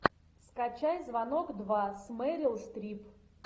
скачай звонок два с мэрил стрип